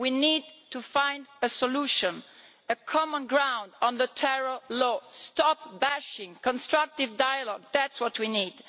We need to find a solution, common ground on the terror law and to stop bashing constructive dialogue, that is what we need.